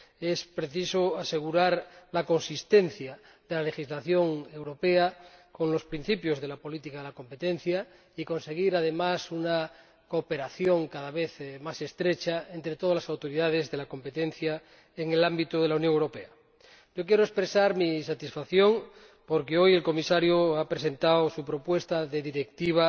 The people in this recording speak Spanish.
Es preciso asegurar la coherencia de la legislación europea con los principios de la política de competencia y conseguir, además, una cooperación cada vez más estrecha entre todas las autoridades de competencia en el ámbito de la Unión Europea. Quiero expresar mi satisfacción porque hoy el Comisario ha presentado su propuesta de Directiva